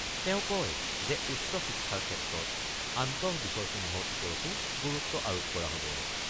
তেওঁ কয় যে উচ্চ শিক্ষাৰ ক্ষেত্ৰত আন্তঃবিষয়সমূহৰ ওপৰতো গুৰুত্ব আৰোপ কৰা হ'ব।